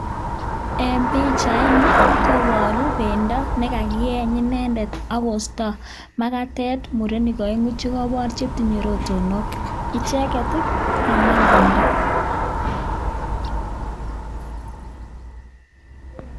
En pichaini koboru bendo ne kakiyeny inendet ak kosto magatet murenik oeng'u chekobor che tinye rotonok icheget ii koganam bendo.